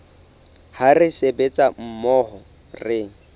ha re sebetsa mmoho re